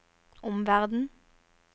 omverden